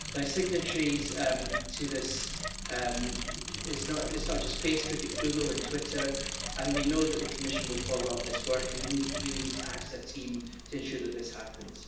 Signatories to this it's not just Facebook, it's Google and Twitter, and we know that the Commission will follow up this work and we really need to act as a team to ensure that this happens.